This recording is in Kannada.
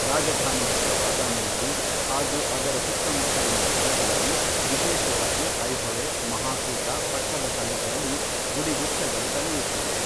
ರಾಜಧಾನಿಯಾದ ಬಾದಾಮಿಯಲ್ಲಿ ಹಾಗೂ ಅದರ ಸುತ್ತಮುತ್ತಲಿನ ಸ್ಥಳಗಳಲ್ಲಿ ವಿಶೇಷವಾಗಿ ಐಹೊಳೆ, ಮಹಾಕೂಟ, ಪಟ್ಟದಕಲ್ಲುಗಳಲ್ಲಿ ಗುಡಿಗುಚ್ಛಗಳು ತಲೆ ಎತ್ತಿವೆ.